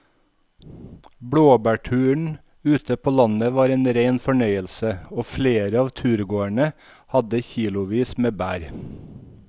Blåbærturen ute på landet var en rein fornøyelse og flere av turgåerene hadde kilosvis med bær.